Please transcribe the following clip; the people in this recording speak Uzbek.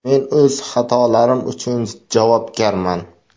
Men o‘z xatolarim uchun javobgarman.